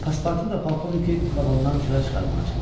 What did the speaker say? Paspartu da polkovniki vaqondan çıxarmağa çalışdı.